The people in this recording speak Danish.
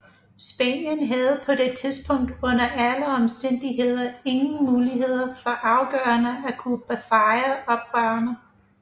Spanien havde på det tidspunkt under alle omstændigheder ingen mulighed for afgørende at kunne besejre oprørerne